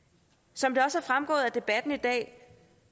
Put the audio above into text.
som det også er fremgået af debatten i dag